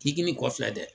Jigini kɔfɛ dɛ